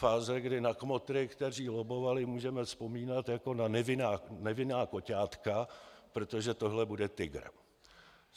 Fáze, kdy na kmotry, kteří lobbovali, můžeme vzpomínat jako na nevinná koťátka, protože tohle bude tygr.